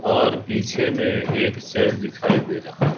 और पीछे में एक चर्च दिखाई दे रहा है।